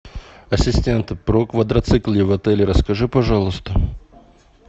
ассистент про квадроциклы в отеле расскажи пожалуйста